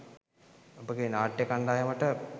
ඔබගේ නාට්‍ය කණ්ඩායමට